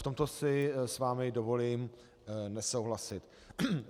V tomto si s vámi dovolím nesouhlasit.